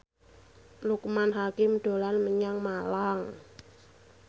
Loekman Hakim dolan menyang Malang